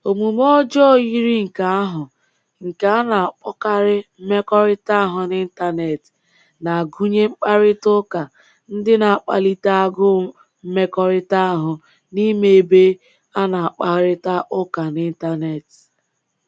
Omume ọjọọ yiri nke ahụ, nke a na-akpọkarị mmekọrịta ahụ n’Intanet, na-agụnye mkparịta ụka ndị na-akplịte agụụ mmekọrịta ahụ n'ime ebe a na-akparịta ụka n'intanet.